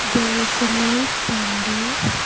there is a man standing.